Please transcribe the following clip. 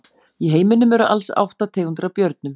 Í heiminum eru alls átta tegundir af björnum.